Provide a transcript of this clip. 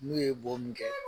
N'u ye bo min kɛ